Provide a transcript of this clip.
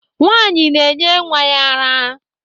Nwanyị na-enye nwa ya ara.